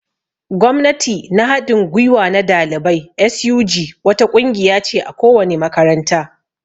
Gwamnati na hadin gwiwa na dalibai (SUG) wata ƙungiya ce a ko wani makaranta.